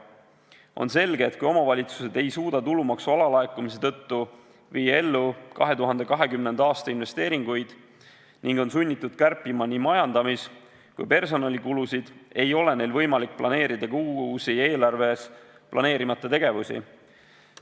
On selge, et kui omavalitsused ei suuda tulumaksu alalaekumise tõttu viia ellu 2020. aasta investeeringuid ning on sunnitud kärpima nii majandamis- kui personalikulusid, siis ei ole neil võimalik planeerida ka uusi, eelarves planeerimata tegevusi.